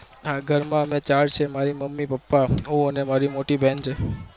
હા ઘર માં અમે ચાર છીએ મારા મમ્મી પપ્પા હું ને મારી મોટી બેન છે